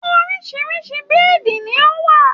Orisirisi bíìdì ni ó wà.